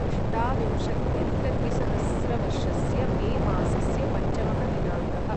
अष्टाविंशत्यधिकद्विसहस्रवर्षस्य May मासस्य पञ्चमः दिनाङ्कः